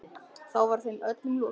Þá var þeim öllum lokið.